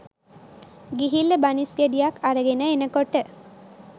ගිහිල්ලා බනිස් ගෙඩියක් අරගෙන එනකොට